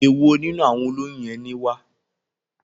Èwo nínú àwọn olóyún yẹn ni wá?